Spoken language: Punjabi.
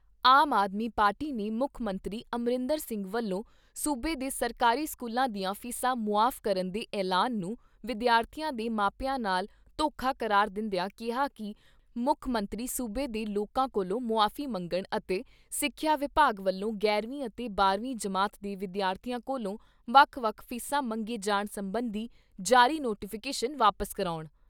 ਆਮ ਆਦਮੀ ਪਾਰਟੀ ਨੇ ਮੁੱਖ ਮੰਤਰੀ ਅਮਰਿੰਦਰ ਸਿੰਘ ਵੱਲੋਂ ਸੂਬੇ ਦੇ ਸਰਕਾਰੀ ਸਕੂਲਾਂ ਦੀਆਂ ਫ਼ੀਸਾਂ ਮੁਆਫ਼ ਕਰਨ ਦੇ ਐਲਾਨ ਨੂੰ ਵਿਦਿਆਰਥੀਆਂ ਦੇ ਮਾਪਿਆਂ ਨਾਲ ਧੋਖਾ ਕਰਾਰ ਦਿੰਦਿਆ ਕਿਹਾ ਕਿ ਮੁੱਖ ਮੰਤਰੀ ਸੂਬੇ ਦੇ ਲੋਕਾਂ ਕੋਲੋਂ ਮੁਆਫ਼ੀ ਮੰਗਣ ਅਤੇ ਸਿੱਖਿਆ ਵਿਭਾਗ ਵੱਲੋਂ ਗਿਆਰਵੀਂ ਅਤੇ ਬਾਰਵੀਂ ਜਮਾਤ ਦੇ ਵਿਦਿਆਰਥੀਆਂ ਕੋਲੋਂ ਵੱਖ ਵੱਖ ਫ਼ੀਸਾਂ ਮੰਗੇ ਜਾਣ ਸੰਬੰਧੀ ਜਾਰੀ ਨੋਟੀਫ਼ਿਕੇਸ਼ਨ ਵਾਪਸ ਕਰਾਉਣ।